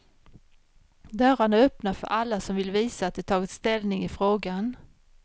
Dörrarna är öppna för alla som vill visa att de tagit ställning i frågan.